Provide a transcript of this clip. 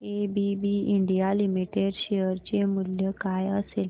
ABB India limited share चे मूल्य काय असेल